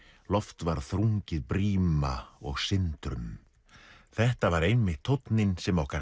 loft varð þrungið bríma og sindrum þetta var einmitt tónninn sem okkar